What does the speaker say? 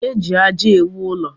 E ji aja ewụ ụlọ.